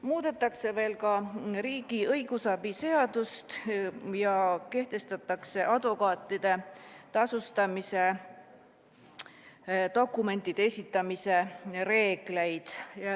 Muudetakse ka riigi õigusabi seadust ja kehtestatakse advokaatide tasustamise dokumentide esitamise reeglid.